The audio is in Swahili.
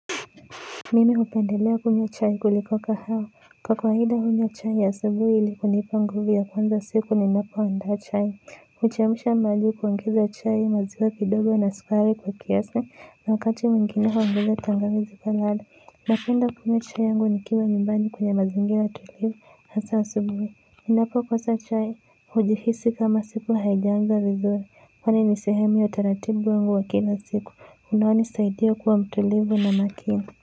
Mimi hupendelea kunywa chai kuliko kahawa. Kwa kawaida kunywa chai ya asubuhi ili kunipa nguvu ya kuanza siku ninapo andaa chai. Kuchemsha maji kuongeza chai maziwa kidogo na sukari kwa kiasi wakati mwigine huongeza tangawizi napenda kunywa chai yangu nikiwa nyumbani kwenye mazingira tulivu hasa asubuhi. Ninapo kosa chai. Hujihisi kama siku haijaenda vizuri. Kwani ni sehemu ya taratibu yangu ya kila siku. Unanisaidia kuwa mtulivu na makini.